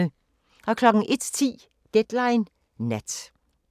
01:10: Deadline Nat